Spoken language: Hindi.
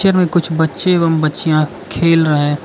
और कुछ बच्चे एवं बच्चियां खेल रहे--